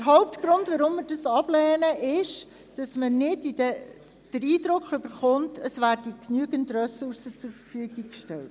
Der Hauptgrund für unsere Ablehnung ist also, dass wir den Eindruck haben, es würden nicht genügend Ressourcen zur Verfügung gestellt.